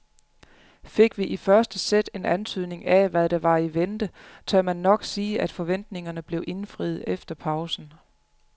Fik vi i første sæt en antydning af hvad der var i vente, tør man nok sige at forventningerne blev indfriet efter pausen.